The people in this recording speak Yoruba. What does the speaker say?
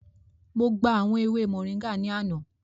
Mo gba awọn ewe móringạ ni ana.